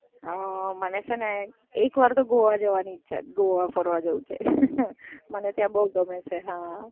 મને છે ને એક વાર તો ગોવા જવાની ઈચ્છા છે, ગોવા ફરવા જવું છે. મને ત્યાં બઉ ગમે છે.